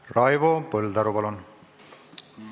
Raivo Põldaru, palun!